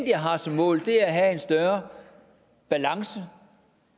jeg har som mål er at have en større balance